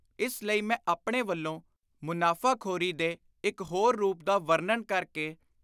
ਇਸ ਲਈ ਮੈਂ ਆਪਣੇ ਵੱਲੋਂ ਮੁਨਾਫ਼ਾਖ਼ਰੀ ਦੇ ਇਕ ਹੋਰ ਰੂਪ ਦਾ ਵਰਣਨ ਕਰ ਕੇ